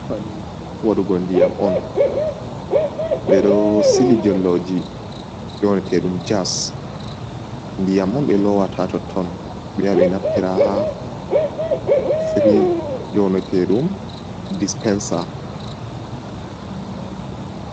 Pali waɗugo ndiyam on ɓeɗo silijolloji nyneteɗum jas ndiyam on ɓe lowata totton ɓe yaha ɓe naftira ha firij nynoteɗum dispensa.